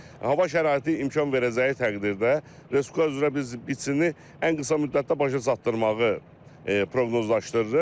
Hava şəraiti imkan verəcəyi təqdirdə Respublika üzrə biz biçini ən qısa müddətdə başa çatdırmağı proqnozlaşdırırıq.